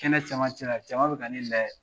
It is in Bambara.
Kɛnɛ cɛmancɛ la jama bɛ ka ne lajɛ.